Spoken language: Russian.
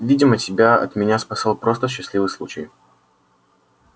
видимо тебя от меня спасал просто счастливый случай